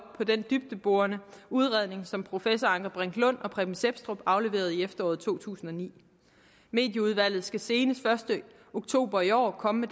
på den dybdeborende udredning som professor anker brink lund og preben sepstrup afleverede i efteråret to tusind og ni medieudvalget skal senest første oktober i år komme